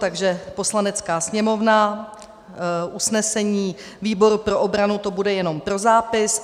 Takže Poslanecká sněmovna, usnesení výboru pro obranu, to bude jenom pro zápis.